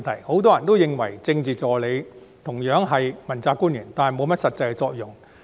很多人認為政治助理同樣是問責官員，但沒有甚麼實際作用。